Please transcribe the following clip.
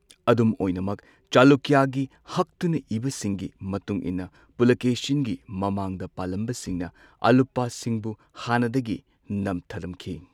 ꯑꯗꯨꯝ ꯑꯣꯏꯅꯃꯛ, ꯆꯂꯨꯀ꯭ꯌꯥꯒꯤ ꯍꯛꯇꯨꯅ ꯏꯕ ꯁꯤꯡꯒꯤ ꯃꯇꯨꯡ ꯏꯟꯅ ꯄꯨꯂꯥꯀꯦꯁꯤꯟꯒꯤ ꯃꯃꯥꯡꯗ ꯄꯥꯜꯂꯝꯕꯁꯤꯡꯅ ꯑꯂꯨꯄꯥꯁꯤꯡꯕꯨ ꯍꯥꯟꯅꯗꯒꯤ ꯅꯝꯊꯔꯝꯈꯤ꯫